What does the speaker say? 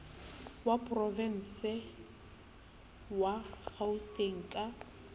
wa porovense wa kgauteng ka